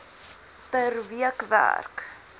per week werk